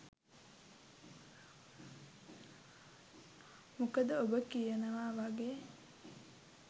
මොකද ඔබ කියනවා වගේ